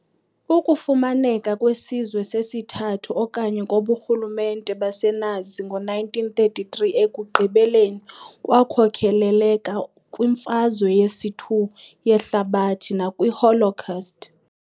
Ukufumaneka kwesiZwe sesiThathu okanye koburhulumente baseNazi ngo-1933 ekugqibeleni kwakhokelela kwiMfazwe yesi-2 yeHlabathi nakwi"Holocaust".